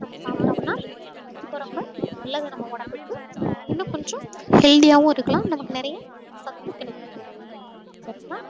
நாம சாப்பிட்டோம்ன்னா ரொம்ப ரொம்ப நல்லது நம்ம உடம்புக்கு இன்னும் கொஞ்சம் healthy ஆவும் இருக்கலாம் நமக்கு நிறைய சத்து கிடைக்கும் சரிங்களா